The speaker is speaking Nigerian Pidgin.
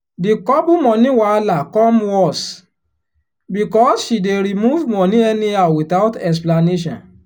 the couple money wahala come worse because she dey remove money anyhow without explanation.